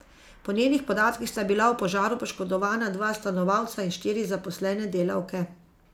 Po njenih podatkih sta bila v požaru poškodovana dva stanovalca in štiri zaposlene delavke.